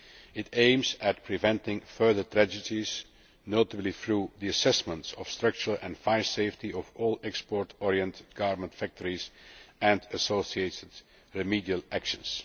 It aims at preventing further tragedies, notably through the assessment of structural and fire safety of all export oriented garment factories and associated remedial actions